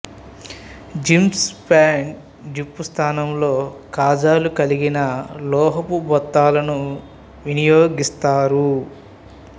jeans pants zip స్థానంలో కాజాలు కలిగిన లోహపు బొత్తాలని వినియోగిస్తారు